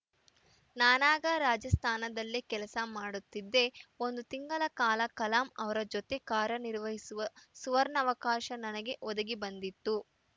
ನಾನಾಗ ರಾಜಸ್ಥಾನದಲ್ಲೇ ಕೆಲಸ ಮಾಡುತ್ತಿದ್ದೆ ಒಂದು ತಿಂಗಲ ಕಾಲ ಕಲಾಂ ಅವರ ಜೊತೆ ಕಾರನಿರ್ವಹಿಸುವ ಸುವರ್ಣಾವಕಾಶ ನನಗೆ ಒದಗಿಬಂದಿತ್ತು